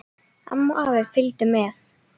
Amma og afi fylgdu með.